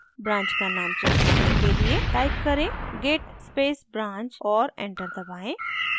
branch का name check करने के लिए type करें git space branch और enter दबाएँ